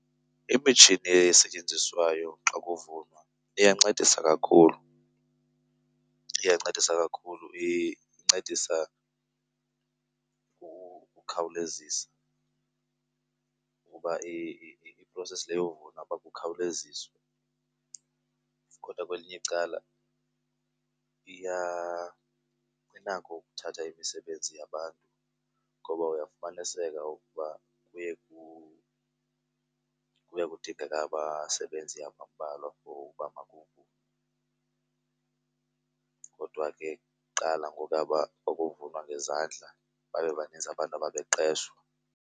Imitshini esetyenziswayo xa kuvunwa iyancedisa kakhulu, iyancedisa kakhulu. Incedisa ukukhawulezisa ukuba i-process le yovuna uba kukhawuleziswe. Kodwa kwelinye icala inako ukuthatha imisebenzi yabantu ngoba uyafumaniseka ukuba kuye , kuye kudingeke abasebenzi abambalwa for uba makuvunwe. Kodwa ke kuqala ngokuya kwakuvunwa ngezandla babe baninzi abantu ababeqeshwa.